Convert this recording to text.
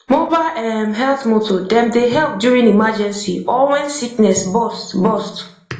mobile erm health motor dem dey help during emergency or when sickness burst burst